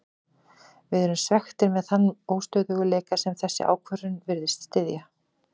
Við erum svekktir með þann óstöðugleika sem þessi ákvörðun virðist styðja.